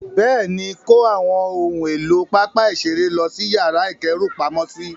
Bẹ́ẹ̀ni, kó àwọn ohun èlò pápá ìṣeré lọ sí yàrá ìkẹ́rùpamọ́sí.